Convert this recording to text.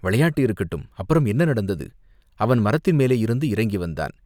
"விளையாட்டு இருக்கட்டும், அப்புறம் என்ன நடந்தது?" "அவன் மரத்தின் மேலேயிருந்து இறங்கி வந்தான்.